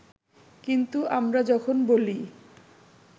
কিন্তু আমরা যখন বলি